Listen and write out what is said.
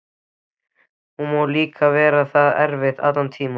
Hún má líka vera það eftir allan þennan tíma.